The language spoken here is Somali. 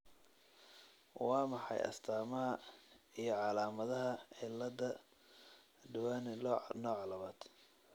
Waa maxay astamaha iyo calaamadaha cilada Duane nooca labad?